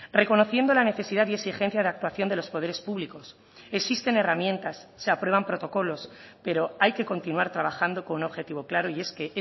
reconociendo la necesidad y exigencia de actuación de los poderes públicos existen herramientas se aprueban protocolos pero hay que continuar trabajando con un objetivo claro y es que